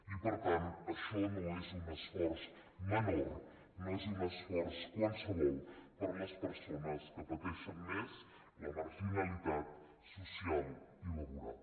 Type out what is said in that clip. i per tant això no és un esforç qualsevol per a les persones que pateixen més la marginalitat social i laboral